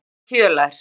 Hvönn er fjölær.